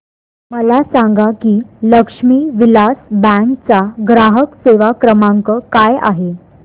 मला सांगा की लक्ष्मी विलास बँक चा ग्राहक सेवा क्रमांक काय आहे